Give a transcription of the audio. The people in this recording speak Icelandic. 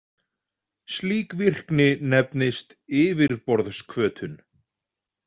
Slík virkni nefnist yfirborðshvötun.